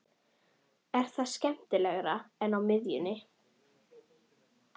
Er það skemmtilegra en á miðjunni?